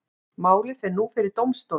Málið fer nú fyrir dómstóla